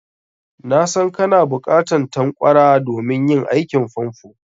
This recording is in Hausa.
Na san kana buƙatan tanƙwara domin yin aikin famfo.